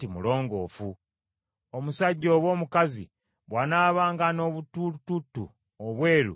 “Omusajja oba omukazi bw’anaabanga n’obutulututtu obweru ku mubiri gwe,